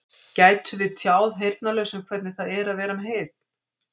Gætum við tjáð heyrnarlausum hvernig það er að vera með heyrn?